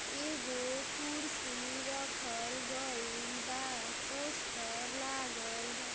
एगो कुर्सी रखल गइल बा। पोस्टर लागल बा।